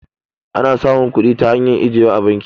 ana samun kudi ta hanyar ajiya a banki